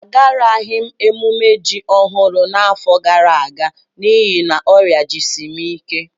Agaraghị m emume ji ọhụrụ n'afọ gara aga n'ihi na ọrịa jisi m ike